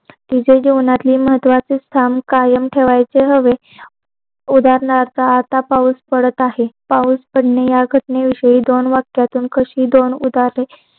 तिथे जीवनाची महत्वाची स्थान कायम ठेवायच हवे उदाहरणार्थ जस आता पाऊस पडत आहे पाऊस पडण्यात हरकत नाही या विषयी अशी दोन वाक्यातून दोन उदाहरणे